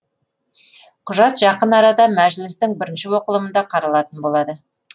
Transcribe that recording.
құжат жақын арада мәжілістің бірінші оқылымында қаралатын болады